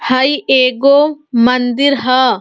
हई एगो मंदिर ह।